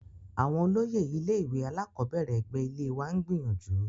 Àwọn olóyè ilé-ìwé alákọ̀ọ́bẹ̀rẹ̀ ẹ̀gbẹ́ ilée wa ń gbìyànjú.